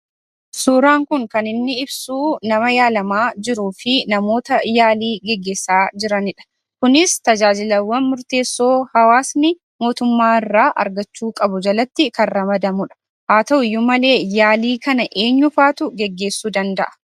Suuraan kun kan inni ibsuu nama yaalamaa jiruufi namoota yaalii geggeessaa jiranidha. Kunis tajaajilawwan murteessoo hawaasni mootummaarraa argachuu qabu jalatti kan ramadamudha. Haa ta'uyyuu malee yaalii kana eenyufaatu geggeessuu danda'a?